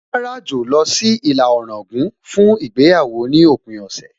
Màá ràjò lọ sí ìlà Ọ̀ràngún fún ìgbéyàwó ní òpin ọ̀sẹ̀